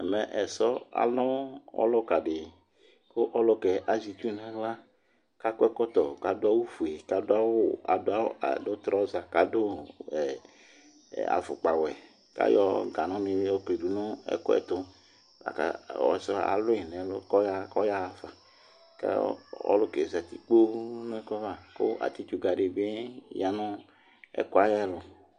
Mɛ ɛsɔ alu ɔluka di Ku ɔluƙɛ aziitsu na aɣla, akɔ ɛkɔto, ka du awu fué, kadu traoza, kadu afukpa wωɛ Ayɔ ganuni yo klidunu ɛkuɛ tu Ɔsiɛ alui nɛ ɛlu kɔyãfa kɔ ɔlukɛ zati kpoo nɛ ɛkuɛ ava Ku atchitu kadigbé nɛ ɛkuɛ ́ava